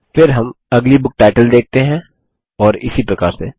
फिर हम अगली बुक टाइटल देखते हैं और इसी प्रकार से